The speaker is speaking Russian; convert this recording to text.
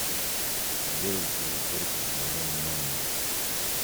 сделайте уборку в моем номере